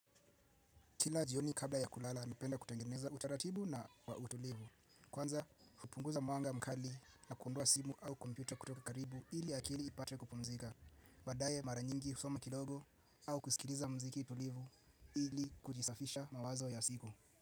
Kila jioni kabla ya kulala napenda kutengeneza utaratibu na kwa utulivu. Kwanza, kupunguza mwanga mkali na kuondoa simu au kompyuta kutoka karibu ili akili ipate kupumzika. Baadaye mara nyingi husoma kidogo au kusikiliza muziki tulivu ili kujisafisha mawazo ya siku.